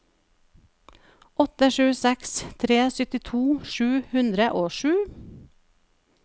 åtte sju seks tre syttito sju hundre og sju